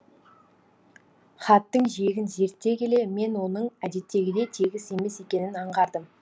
хаттың жиегін зерттей келе мен оның әдеттегідей тегіс емес екенін аңғардым